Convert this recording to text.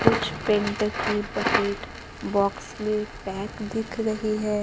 कुछ पेंट ढकी bucket box में पैक दिख रही है।